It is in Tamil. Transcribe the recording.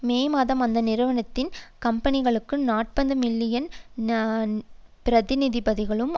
மே மாதம் அந்த நிறுவனத்தின் கம்பெனி பங்குகளில் நாற்பது மில்லியன்களை பிரதிநிதித்துவ படுத்தும்